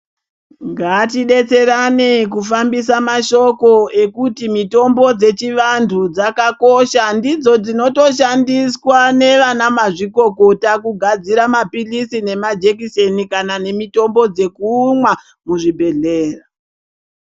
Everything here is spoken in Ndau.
Ngatidzidetserane kufambise madhoko ekuti mitombo dzechiantu dzakakosha, ndidzo dzinoshandiswa nevanamazvikokota kugadzire mapilizi nemajekiseni kana nemitombo dzekumwa muzvibhedhleya.